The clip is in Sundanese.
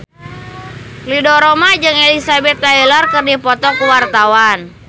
Ridho Roma jeung Elizabeth Taylor keur dipoto ku wartawan